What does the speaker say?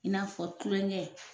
In'a fɔ tulonkɛ.